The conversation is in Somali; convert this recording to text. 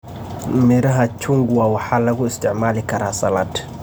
Midhaha chungwa waxaa lagu isticmaali karaa salad.